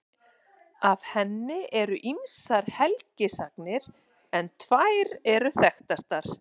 Af henni eru ýmsar helgisagnir en tvær eru þekktastar.